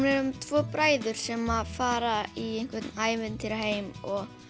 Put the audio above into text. um tvo bræður sem að fara í ævintýraheim og